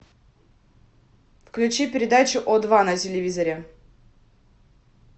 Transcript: включи передачу о два на телевизоре